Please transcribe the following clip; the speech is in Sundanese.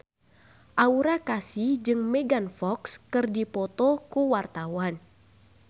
Aura Kasih jeung Megan Fox keur dipoto ku wartawan